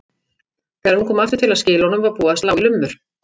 Þegar hún kom aftur til að skila honum var búið að slá í lummur.